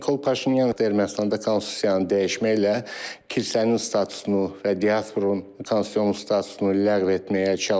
Nikol Paşinyan Ermənistanda konstitusiyanı dəyişməklə kilsənin statusunu və diasporun konstitusiyanın statusunu ləğv etməyə çalışır.